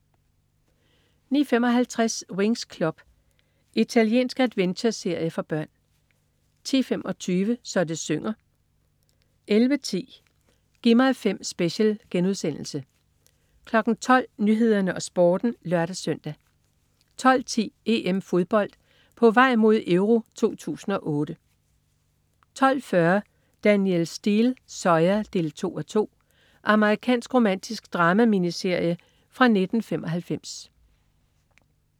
09.55 Winx Club. Italiensk adventureserie for børn 10.25 Så det synger 11.10 Gi' mig 5 Special* 12.00 Nyhederne og Sporten (lør-søn) 12.10 EM-Fodbold: På vej mod EURO 2008 12.40 Danielle Steel: Zoya 2:2. Amerikansk romantisk drama-miniserie fra 1995